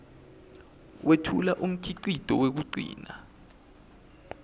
wetfula umkhicito wekugcina